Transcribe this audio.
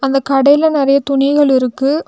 அந்த கடேல நெறைய துணிகள் இருக்கு.